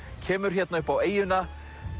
kemur hérna upp á eyjuna